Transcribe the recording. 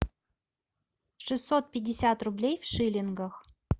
шестьсот пятьдесят рублей в шиллингах